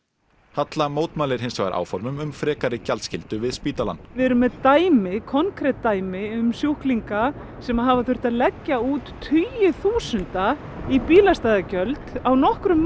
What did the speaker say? halla mótmælir hins vegar áformum um frekari gjaldskyldu við spítalann við erum með dæmi konkret dæmi um sjúklinga sem hafa þurft að leggja út tugi þúsunda í bílastæðagjöld á nokkrum